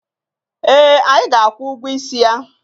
Eh, anyị ga-akwụ ụgwọ isi ya.